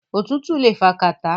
Òtútù le fa kàtá.